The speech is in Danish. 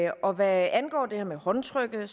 og hvad angår det her med håndtrykket har